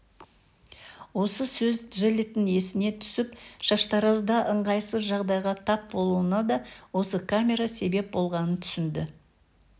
осы сөз джеллеттің есіне түсіп шаштаразда ыңғайсыз жағдайға тап болуына да осы камера себеп болғанын түсінді